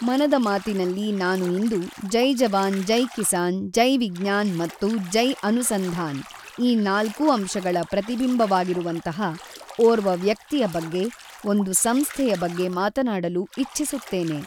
ಮನದ ಮಾತಿನಲ್ಲಿ ನಾನು ಇಂದು ಜೈ ಜವಾನ್ ಜೈ ಕಿಸಾನ್, ಜೈ ವಿಜ್ಞಾನ್ ಮತ್ತು ಜೈ ಅನುಸಂಧಾನ್ ಈ ನಾಲ್ಕೂ ಅಂಶಗಳ ಪ್ರತಿಬಿಂಬವಾಗಿರುವಂತಹ ಓರ್ವ ವ್ಯಕ್ತಿಯ ಬಗ್ಗೆ, ಒಂದು ಸಂಸ್ಥೆಯ ಬಗ್ಗೆ ಮಾತನಾಡಲು ಇಚ್ಛಿಸುತ್ತೇನೆ.